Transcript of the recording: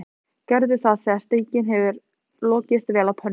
Gerðu það þegar steikin hefur lokast vel á pönnunni.